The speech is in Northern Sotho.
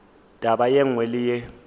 taba ye nngwe le ye